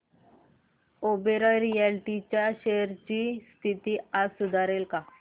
Oberoi Realty च्या shares ची स्थिती आज सुधारेल का